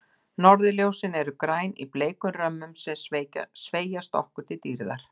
Norðurljós eru græn, í bleikum römmum sem sveigjast okkur til dýrðar.